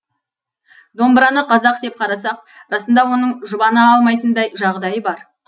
домбыраны қазақ деп қарасақ расында оның жұбана алмайтындай жағдайы бар